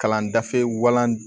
Kalan dafe walan